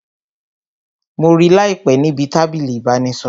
Mo rí láìpé níbi tábìlì ìbánisọ̀rọ̀